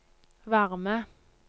varme